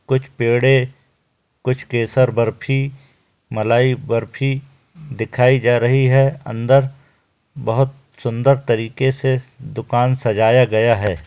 कुछ पेड़ है कुछ केसर बर्फी मलाई बर्फी दिखाई जा रही है अंदर बहुत सुंदर तरीके से दुकान सजाया गया हैं।